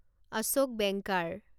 Ashok banker